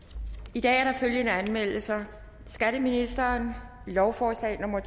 i dag er der følgende anmeldelser skatteministeren lovforslag nummer